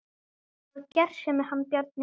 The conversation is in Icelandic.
Hann var gersemi hann Bjarni.